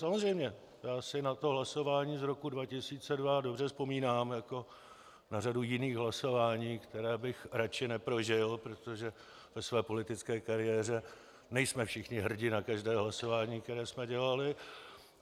Samozřejmě, já si na to hlasování z roku 2002 dobře vzpomínám, jako na řadu jiných hlasování, která bych radši neprožil, protože ve své politické kariéře nejsme všichni hrdi na každé hlasování, které jsme dělali.